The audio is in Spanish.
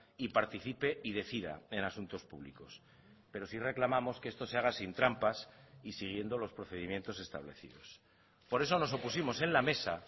y participe y decida en asuntos públicos pero sí reclamamos que esto se haga sin trampas y siguiendo los procedimientos establecidos por eso nos opusimos en la mesa